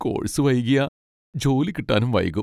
Course വൈകിയാ, ജോലി കിട്ടാനും വൈകും.